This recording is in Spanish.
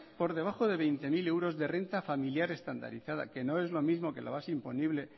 por debajo de veinte mil euros de renta familiar estandarizada que no es lo mismo que la base imponible